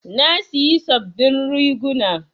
Na siyi sabin riguna